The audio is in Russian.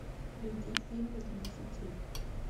найди фильмы для детей